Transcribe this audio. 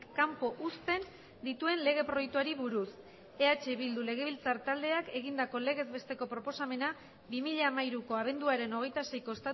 kanpo uzten dituen lege proiektuari buruz eh bildu legebiltzar taldeak egindako legez besteko proposamena bi mila hamairuko abenduaren hogeita seiko